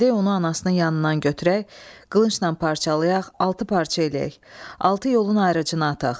Gedək onu anasının yanından götürək, qılıncnan parçalayaq, altı parça eləyək, altı yolun ayrıcına ataq.